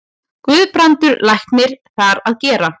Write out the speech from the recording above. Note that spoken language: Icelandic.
Guðbrandur læknir þar að gera.